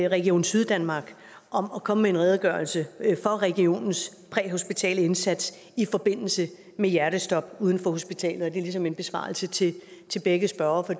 region syddanmark om at komme med en redegørelse for regionens præhospitale indsats i forbindelse med hjertestop uden for hospitalet og det er ligesom en besvarelse til til begge spørgere for